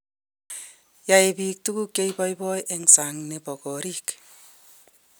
Yoe biik tukuk che iboiboik eng sang ne bo koriik.